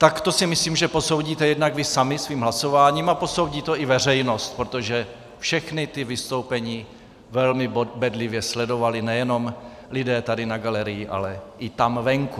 Tak to si myslím, že posoudíte jednak vy sami svým hlasováním a posoudí to i veřejnost, protože všechna ta vystoupení velmi bedlivě sledovali nejenom lidé tady na galerii, ale i tam venku.